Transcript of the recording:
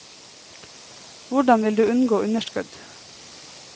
Hvordan vil du unngå underskudd?